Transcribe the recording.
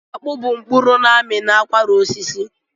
Akpụ bụ mkpụrụ n'ami n'akwara osisi.